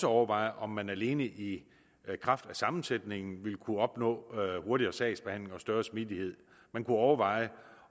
overveje om man alene i kraft af sammensætningen ville kunne opnå hurtigere sagsbehandling og større smidighed man kunne overveje